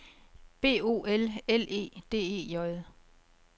B O L L E D E J